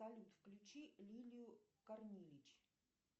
салют включи лилию корнилич